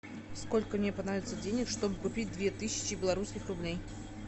сколько мне понадобится денег чтобы купить две тысячи белорусских рублей